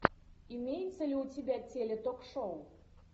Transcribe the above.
имеется ли у тебя теле ток шоу